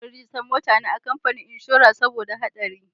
Ina son in ragista mota na a kamfani inshora sabida hasari.